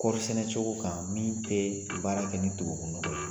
Kɔɔrisɛnɛ cogo kan min tɛ baara kɛ ni tubabu nɔnɔgɔ ye.